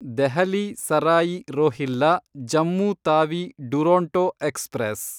Delhi Sarai Rohilla Jammu Tawi Duronto express